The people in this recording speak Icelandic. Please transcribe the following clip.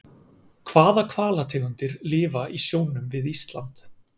Hvaða hvalategundir lifa í sjónum við Ísland?